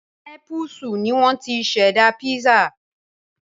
Népúsù ni wọ́n ti ṣẹ̀dá písà